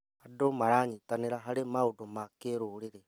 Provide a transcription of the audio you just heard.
Andũ maranyitanĩra harĩ maũndũ ma kĩrũrĩrĩ.